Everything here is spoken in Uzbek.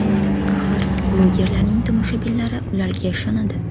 Axir, bloggerlarning tomoshabinlari ularga ishonadi.